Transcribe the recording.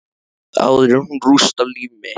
Áður en hún rústar líf mitt.